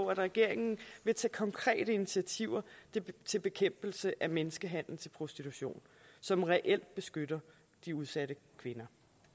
regeringen vil tage konkrete initiativer til bekæmpelse af menneskehandel til prostitution som reelt beskytter de udsatte kvinder